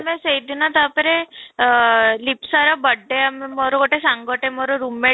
ମେ ସେଇ ଦିନ ତା'ପରେ ଆଃ ଲିପ୍ସା ର birthday ଆମେ ମୋର ଗୋଟେ ସାଙ୍ଗଟେ ମୋର room mate